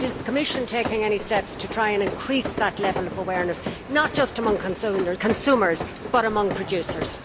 Is the Commission taking any steps to try and increase that level of awareness, not just amongst consumers but amongst producers?